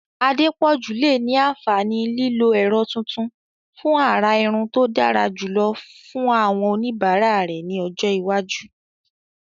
Adepoju lè ní àǹfààní lílo ẹ̀rọ tuntun fún àrà irun tó dára jùlọ fún àwọn oníbàárà rẹ̀ ní ọjọ́ iwájú.